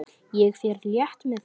Ég fer létt með það.